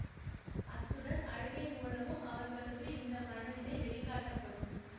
அத்துடன் அழுகை மூலமும் அவர்களது இந்த மனநிலை வெளிக்காட்டப்படும்